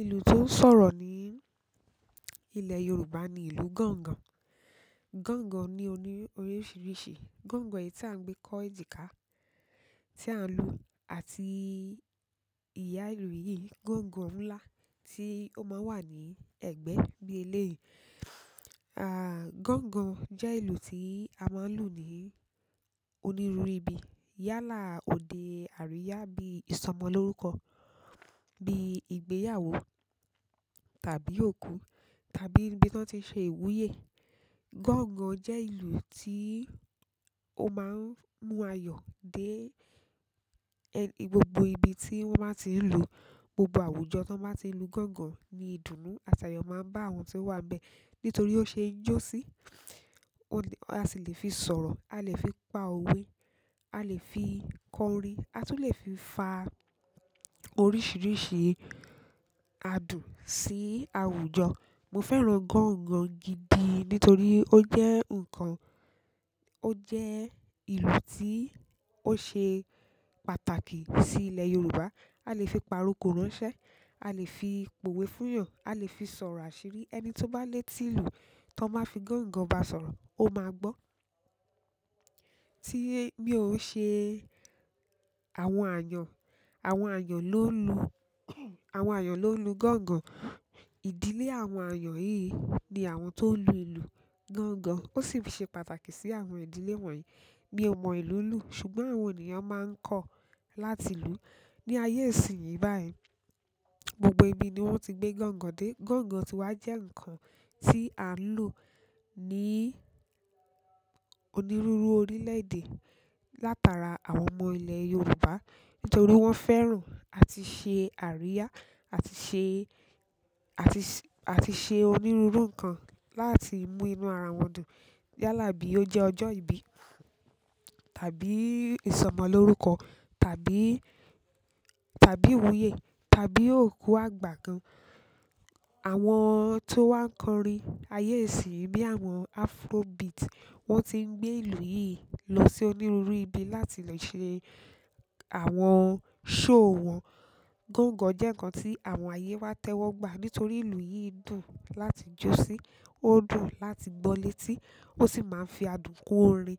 Ìlú tó ń sọ̀rọ̀ ní ilẹ̀ Yorùbá ni ìlú gángan. Gángan ní oríṣiríṣi. Gángan yìí tí à ń gbé kọ́ ejika, tí à ń lu àti ìyá ìlú yìí, gángan ńlá tí ó máa ń wà ní ẹ̀gbẹ́ ní eléyii. Gángan jẹ́ ìlú tí a máa ń lù ní onírúurú ibi. Yálà òde àríyá bí ìsọmọ lórúkọ, bí ìgbéyàwó tàbí òkú tàbí níbi tí wọ́n ti n ṣe ìwúyè. Gángan jẹ́ ìlú tí ó máa ń mú ayọ̀ dé e gbogbo ibi tí wọ́n bá ti ń lù ú, gbogbo àwùjọ tí wọ́n bá ti ń lu gángan ní ìdùnnú àti ayọ̀ máa ń bá àwọn tí ó wà bẹ́ẹ̀. Nítorí ó ṣe é jó sí, a sì lè fi sọ̀rọ̀, a lè fi pa òwe, a lè fi kọ orin, a tún lè fi fa oríṣiríṣi adùn sí àwùjọ. Mo fẹ́ràn gángan gidi nítorí ó jẹ́ ǹkan, ó jẹ́ ìlú tí ó ṣe pàtàkì sí ilẹ̀ Yorùbá. A lè fi pa aròkò ránṣẹ́, a lè fi po òwe fún ìyàn, a lè fi sọ̀rọ̀ àṣírí. Ẹni tí ó bá lé tí ìlú tí wọ́n máa fi gángan bá sọ̀rọ̀, ó máa gbọ́. Tí bí ó ṣe àwọn ayan, àwọn ayan ló lu, àwọn ayan ló lu gángan. Ìdílé àwọn ayan yìí ni àwọn tó lu ìlú gángan. Ó sì fi ṣe pàtàkì sí àwọn ìdílé wọ̀nyí. Mi o mọ ìlú lu, ṣùgbọ́n àwọn ènìyàn maa n kọ láti lu ni ayé ìsìnyí báyìí, gbogbo ibi ni wọ́n ti gbé gángan dé. Gángan ti wá jẹ́ ǹkan tí à ń lù ú ní onírúurú orílẹ̀ èdè látara àwọn ọmọ ilẹ̀ Yorùbá. Nítorí wọ́n fẹ́ràn àti ṣe àríyá, àti ṣe, àti ṣe, àti ṣe onírúurú ǹkan láti mú inú ara wọn dùn. Yálà bí ó jẹ́ ọjọ́ ìbí tàbí ìsọmọ lórúkọ tàbí, tàbí ìwúyè tàbí òkú àgbà kan. Àwọn tó wá ń kọ orin ayé ìsìnyí bí àwọn Afrobeat, wọ́n ti ń gbé ìlú yìí lọ sí onírúurú ibi láti le ṣe àwọn show wọn. Gángan jẹ́ ǹkan tí àwọn ayé wa tẹ́wọ́ gbà. Nítorí ìlú yìí dùn láti jó sí, ó dùn láti gbọ́ létí, ó sì máa ń fi adùn kun orin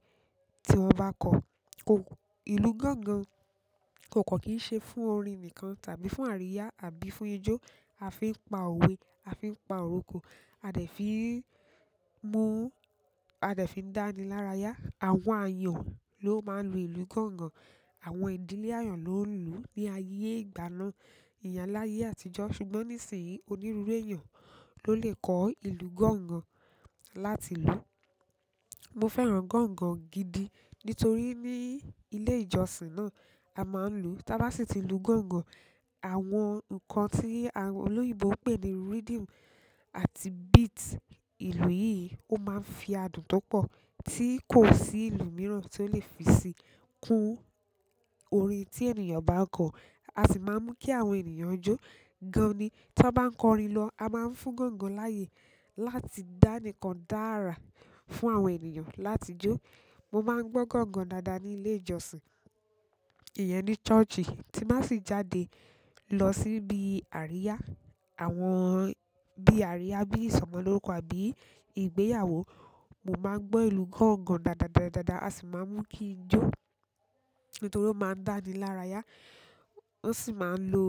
tí wọn ba kọ. Ko, ìlú gángan kò kan kín ṣe fún orin nìkan tàbí fún àríyá àbí fún ijó. A fi ń pa òwe, a fi ń pa aròkò, a dẹ̀ fi mú, a dẹ̀ fi n dáni lára ya. Àwọn ayan ló máa ń lu ìlú gángan. Àwọn ìdílé ayan ló ń lù ú ní ayé ìgbà náà. Ìyẹn láyé àtijọ́. Ṣùgbọ́n nísìnyí, onírúurú èèyàn ló lè kọ́ ìlú gángan láti lù ú. Mo fẹ́ràn gángan gidi nítorí ní ilé ìjọsìn náà, a máa ń lù ú. Tá bá sì ti lu gángan, àwọn ǹkan tí àwọn olóyinbo pè ní rhythm àti beat ìlú yìí ó máa ń fi adùn tó pọ̀ tí kò sí ìlú mìíràn tí ó lè fi sí kún orin tí ènìyàn bá kọ. A sì máa ń mú kí àwọn ènìyàn jó. Gani tí wọ́n bá ń kọ orin lọ, a máa ń fún gángan láyè láti dání kàn dára fún àwọn ènìyàn láti jó. Mo máa ń gbọ́ gángan dáadáa ní ilé ìjọsìn. Ìyẹn ni church. Tí n ba sì jáde lọ síbi àríyá, àwọn bí àríyá, bí ìsọmọ lórúkọ àbí ìgbéyàwó, mo máa ń gbọ́ ìlú gángan dáadáa dáadáa a sì máa ń mú kí n jó. Nítorí ó máa ń dáni lára ya. Ó sì máa ń lo,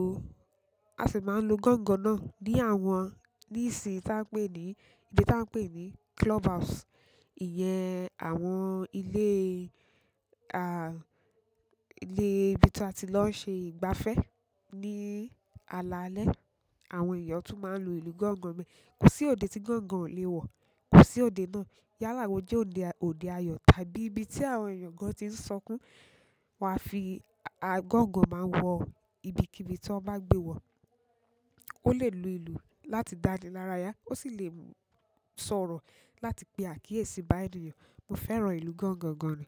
a sì máa ń lo gángan náà ní àwọn, ní ìsì tí a ń pè ní, ibi tí a ń pè ní clubhouse. Ìyẹn àwọn ilé, ilé ibi tí a ti lọ ṣe ìgbafẹ́ ní alaalẹ́. Àwọn èèyàn tún máa ń lu ìlú gángan bẹ́ẹ̀. Kò sí òde tí gángan ò lè wọ̀. Kò sí òde náà. Yálà wọ́n jẹ́ òde, òde ayọ̀ tàbí ibi tí àwọn èèyàn gan ti ń sọkún, wà á fi, à, gángan máa wọ ibikíbi tí wọ́n bá gbé wọ̀. Ó lè lu ìlú láti dáni lára ya. Ó sì lè sọ̀rọ̀ láti pé àkíyèsí bá ènìyàn. Mo fẹ́ràn ìlú gángan gan ni.